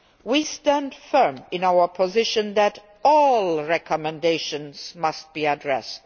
We stand firm in our position that all recommendations must be addressed.